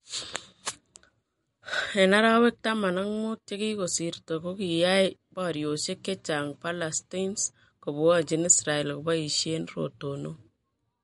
en arawek taman ak muut chgigosirta , kogigoyaey pariosiek chechang Palestines kopwanjin Israel kopaisien rotonok